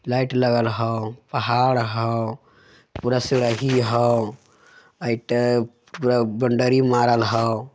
लाइट लगल हउ पहाड़ हाउ हउ पूरा पुरा बोंडरी मारल हउ।